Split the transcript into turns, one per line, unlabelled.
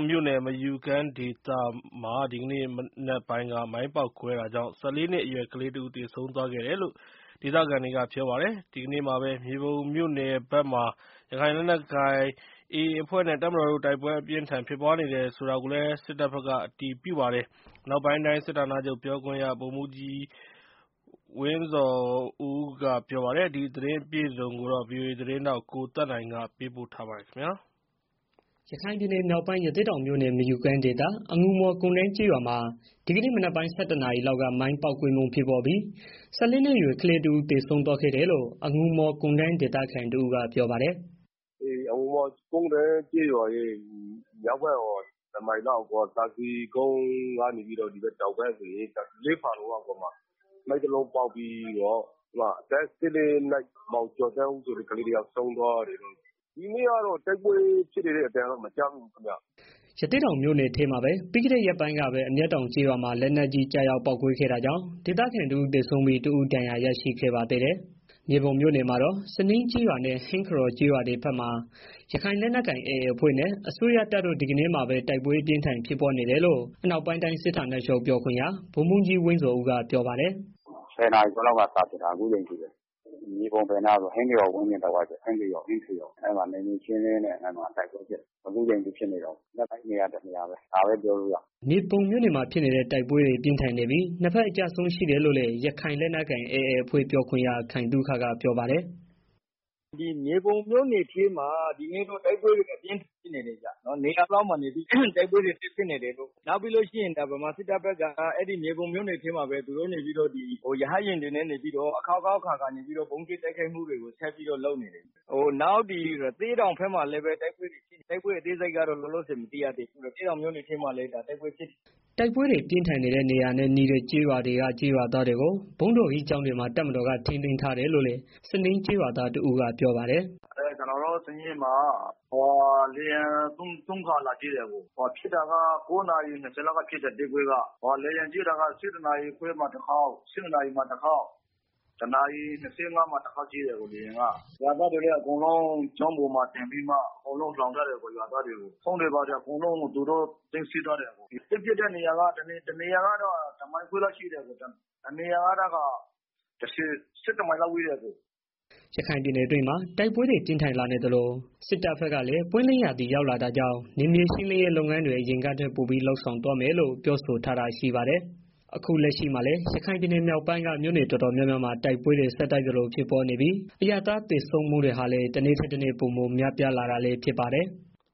မြို့နယ် မယူကမ်းဒေသမှာ ဒီကနေ့မနက်ပိုင်းက မိုင်းပေါက်ကွဲတာကြောင့် ၁၄ နှစ်အရွယ် ကလေးတဦး သေဆုံးသွားခဲ့တယ်လို့ ဒေသခံတွေက ပြောပါတယ်။ ဒီကနေ့မှာပဲ မြေပုံမြို့နယ်ဘက်မှာတော့ ရခိုင်လက်နက်ကိုင် AA အဖွဲ့နဲ့ စစ်တပ်ကြား တိုက်ပွဲအပြင်းအထန် ဖြစ်ပွားနေပါတယ်။ ဒီသတင်းအပြည့်အစုံကို ဗွီအိုအေသတင်းထောက် ကိုသက်နိုင် တင်ပြပေးထားပါတယ်။ ရ
ခိုင်ပြည်နယ်မြောက်ပိုင်း ရသေ့တောင်မြို့နယ် မယူကမ်းဒေသ အငူမော်ကုန်တန်းကျေးရွာမှာ ဒီကနေ့မနက်ပိုင်း ၁၁ နာရီလောက်က မိုင်းပေါက်ကွဲမှု ဖြစ်ပွားပြီး ၁၄ နှစ်အရွယ် ကလေးတဦး သေဆုံးသွားခဲ့တယ်လို့ အငူမော်ကုန်တန်း ဒေသခံတဦးက ပြောပါတယ်
။ “အငူမော်ကုန်တန်းကျေးရွာရဲ့ မြောက်ဘက်ပေါ့။ တမိုင်လောက်အကွာ သာစည်ကုန်းကနေပြီးတော့ လေးဖာလုံလောက်အကွာမှာ အသက် ၁၄ နှစ် မောင်ကျော်သန်းဦးဆိုတဲ့ ကလေးတယောက် ဆုံးသွားတယ်။ ဒီနေ့ကတော့ တိုက်ပွဲဖြစ်နေတဲ့ အသံလည်း မကြားမိဘူးခင်ဗျာ။
” ရသေ့တောင်မြို့နယ်ထဲမှာပဲ ပြီးခဲ့တဲ့ရက်ပိုင်းက အမျက်တောင်ကျေးရွာမှာ လက်နက်ကြီး ကျရောက်ပေါက်ကွဲခဲ့တာကြောင့် ဒေသခံတဦး သေဆုံးပြီး တဦး ဒဏ်ရာရခဲ့ပါသေးတယ်။ မြေပုံမြို့နယ်မှာတော့ စညင်းကျေးရွာနဲ့ ဟင်းခရော်ကျေးရွာဘက်တွေမှာ ရခိုင်လက်နက်ကိုင် AA အဖွဲ့နဲ့ အစိုးရတပ်တို့ ဒီကနေ့မှာပဲ တိုက်ပွဲအပြန်းအထန် ဖြစ်ပွားနေတယ်လို့ အနောက်ပိုင်းတိုင်းစစ်ဌာနချုပ် ပြောခွင့်ရ ဗိုလ်မှူးကြီး ဝင်းဇော်ဦးက ပြောပါတယ်
။ “၁၀ နာရီခွဲလောက်ကနေ စဖြစ်နေတာ အခုအချိန်ထိပဲ။ မြေပုံဘယ်နားလဲဆိုတော့ ဟင်းခရော်ဝန်းကျင် တဝိုက်ပဲ။ နယ်မြေရှင်းလင်းရေးနဲ့ တိုက်ပွဲဖြစ်နေတာ အခုအချိန်ထိဖြစ်နေတုန်း၊ အဲနေရာတနေရာပဲ။”
မြေပုံမြို့နယ်တိုက်ပွဲတွေ ပြင်းထန်နေပြီး နှစ်ဖက်အကျအဆုံး ရှိတယ်လို့လည်း ရခိုင်လက်နက်ကိုင် AA အဖွဲ့ ပြောခွင့်ရ ခိုင်သုခက ပြောပါတယ်။
“မြေပုံမြို့နယ်ထဲမှာ ဒီနေ့တော့ တိုက်ပွဲအပြင်းအထန် ဖြစ်နေတယ်ဗျာ။ နေရာနှစ်ခုလောက်မှာ နေပြီးတော့ တိုက်ပွဲတွေဖြစ်နေတယ်။ နောက်ပြီးတော့ ဗမာစစ်တပ်ဘက် မြေပုံမြို့နယ်ထဲမှာပဲ ရဟတ်ယာဉ်တွေနဲ့ အခေါက်ခေါက်အခါခါ နေပြီးတော့ ဗုံးကြဲတိုက်ခိုက်မှုတွေကို ဆက်ပြီးတော့ လုပ်နေတယ်။ နောက် ရသေ့တောင်ဘက်မှာလည်း တိုက်ပွဲဖြစ်နေတာရှိတယ်။ တိုက်ပွဲအသေးစိတ်ကို မသိရသေးဘူး။”
တိုက်ပွဲပြင်းထန်နေတဲ့ နေရာနဲ့ နီးတဲ့ ကျေးရွာတွေက ကျေးရွာသားတွေကို ရွာဘုန်းတော်ကြီးကျောင်းတွေမှာ တပ်မတော်က ထိန်းသိမ်းထားတယ်လို့လည်း စညင်းကျေးရွာသားတဦးက ပြောပါတယ်။
“ကျနော်တို့ စညင်းမှာ လေယာဉ် သုံးခါလာကြဲတယ်။ တိုက်ပွဲဖြစ်တာက ၉ နာရီ ၂၀ လောက်ကဖြစ်တယ်။ လေယာဉ်နဲ့ပစ်တာက ၁၁ နာရီခွဲမှာတခါ၊ ၁၂ နာရီမှာတခါ၊ ၁ နာရီ ၂၅ မိနစ်လောက်မှာ တခါပစ်တယ်။ ရွာသားတွေကိုလည်း ကျောင်းပေါ်မှာ အကုန်လုံး လှောင်ထားတယ်။ ဖုန်းတွေ ဘာတွေ အကုန်လုံးကို သူတို့သိမ်းထားတယ်။ စစ်ဖြစ်တဲ့နေရာကတော့ တနေရာကတော့ တမိုင်ခွဲလောက်ဝေးတယ်။ နောက်တနေရာကတော့ ၁၁ မိုင်လောက်ဝေးတယ်။”
ရခိုင်ပြည်နယ်အတွင်းမှာ တိုက်ပွဲတွေ ပြင်းထန်လာနေသလို စစ်တပ်ဘက်ကလည်း ပွင့်လင်းရာသီ ရောက်လာတာကြောင့် နယ်မြေရှင်းလင်းရေး လုပ်ငန်းတွေ အရင်ကထက် ပိုပြီးလုပ်ဆောင်သွားမယ်လို့ ပြောဆိုထားတာ ရှိပါတယ်။ အခုလက်ရှိမှာလည်း ရခိုင်ပြည်နယ် မြောက်ပိုင်းက မြို့နယ်တော်တော်များများမှာ တိုက်ပွဲတွေ ဆက်တိုက်ဆိုသလို ဖြစ်ပွားနေပြီး အရပ်သား ထိခိုက်သေဆုံးမှုတွေဟာ တနေ့ထက်တနေ့ ပိုမိုများပြားလာတာလည်း ဖြစ်ပါတယ်။